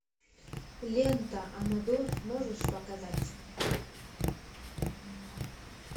лента амадор можешь показать